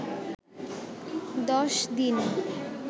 দশ দিন